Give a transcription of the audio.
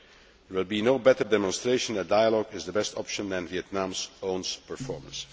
There will be no better demonstration that dialogue is the best option than Vietnam's own performance.